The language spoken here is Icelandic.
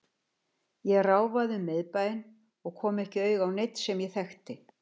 Ég ráfaði um miðbæinn og kom ekki auga á neinn sem ég þekkti.